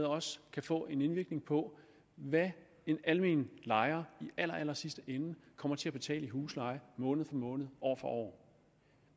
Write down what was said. også kan få en indvirkning på hvad en almen lejer i allerallersidste ende kommer til at betale i husleje måned for måned år for år